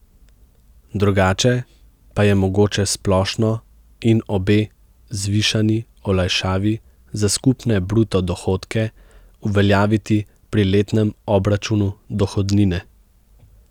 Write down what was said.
Drugače pa je mogoče splošno in obe zvišani olajšavi za skupne bruto dohodke uveljaviti pri letnem obračunu dohodnine.